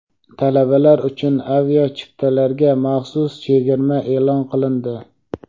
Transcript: Talabalar uchun aviachiptalarga maxsus chegirma e’lon qilindi.